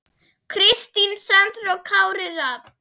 Kristín Sandra og Kári Rafn.